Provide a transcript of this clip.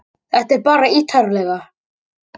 Þetta er bara ítarlegra